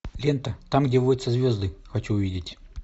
лента там где водятся звезды хочу увидеть